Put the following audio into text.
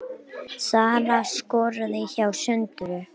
Sara skoraði hjá Söndru